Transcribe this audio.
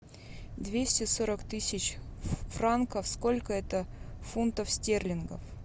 двести сорок тысяч франков сколько это фунтов стерлингов